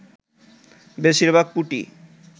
বেশির ভাগ পুঁটি